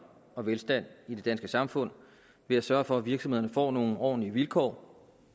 og velstand i det danske samfund ved at sørge for at virksomhederne får nogle ordentlige vilkår